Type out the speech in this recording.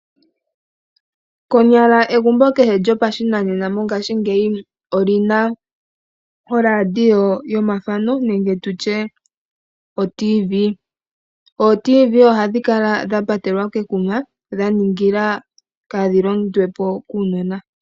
Konyala egumbo kehe lyopashinanena mongashingeyi oli na oradio yomuzizimba nenge tu tye otiivii. Ootiivii ohadhi kala dha patelwa komakuma dha ningila kaadhi londwe po kuunona.